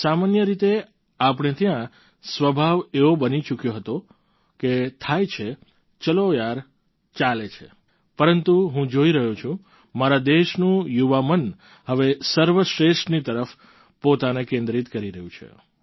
સામાન્ય રીતે આપણે ત્યાં સ્વભાવ એવો બની ચૂક્યો હતો થાય છે ચલો યાર ચાલે છે પરંતુ હું જોઈ રહ્યો છું મારા દેશનું યુવા મન હવે સર્વશ્રેષ્ઠની તરફ પોતાને કેન્દ્રિત કરી રહ્યું છે